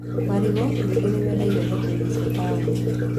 Marigũ ningĩ nĩ mendagio thoko-inĩ cia taũni